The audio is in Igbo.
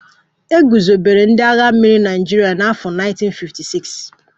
E guzobere ndị agha mmiri Naịjirịa na afọ 1956